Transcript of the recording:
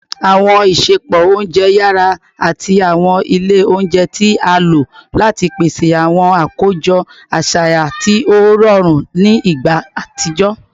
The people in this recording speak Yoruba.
Awọn isẹpo ounjẹ yara ati awọn ile ounjẹ ti a lo lati pese awọn akojọ aṣayan ti o rọrun ni igba atijọ